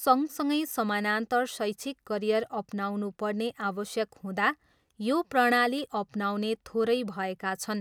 सँगसँगै समानान्तर शैक्षिक करियर अपनाउनु पर्ने आवश्यक हुँदा, यो प्रणाली अपनाउने थोरै भएका छन्।